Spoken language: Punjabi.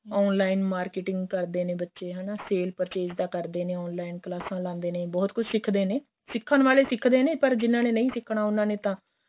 online marketing ਕਰਦੇ ਨੇ ਬੱਚੇ ਹੈਨਾ sale purchase ਦਾ ਕਰਦੇ ਨੇ online ਕਲਾਸਾਂ ਲਾਦੇ ਨੇ ਬਹੁਤ ਕੁੱਛ ਸਿਖਦੇ ਨੇ ਸਿਖਣ ਵਾਲੇ ਸਿਖਦੇ ਨੇ ਪਰ ਜਿਹਨਾ ਨੇ ਨਹੀਂ ਸਿਖਣਾ ਉਹਨਾ ਨੇ ਤਾਂ